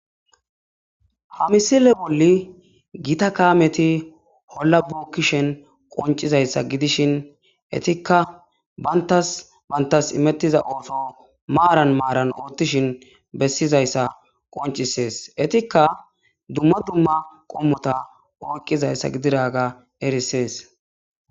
Ha misile bolli gita kaameti hollabookkishen qoncizayssa gidishin etikka bantas bantas imettiza ooto maaran maaran oottishin bessizayssa qoncisees etikka dumma dumma qommota oyqqizayssa gididaga erisees.